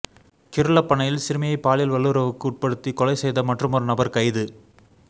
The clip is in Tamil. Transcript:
கிருலப்பனையில் சிறுமியை பாலியல் வல்லுறவுக் குட்படுத்தி கொலை செய்த மற்றுமொரு நபர் கைது